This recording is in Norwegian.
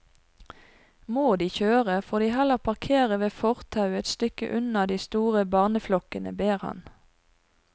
Må de kjøre, får de heller parkere ved fortauet et stykke unna de store barneflokkene, ber han.